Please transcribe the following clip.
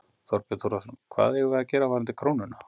Þorbjörn Þórðarson: Hvað eigum við að gera varðandi krónuna?